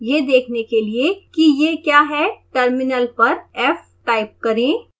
यह देखने के लिए कि यह क्या है टर्मिनल पर f टाइप करें